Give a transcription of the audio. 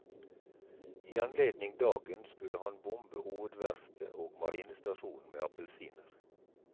I anledning dagen skulle han bombe hovedverftet og marinestasjonen med appelsiner.